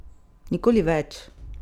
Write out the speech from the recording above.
Nikoli več!